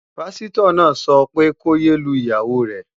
Páṣítọ̀ náà sọ pé ko yé lu ìyàwó rẹ